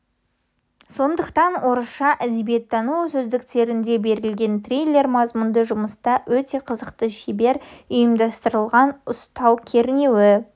сондықтан орысша әдебиеттану сөздіктерінде берілген триллер мазмұнды жұмыста өте қызықты шебер ұйымдастырылған ұстау кернеуі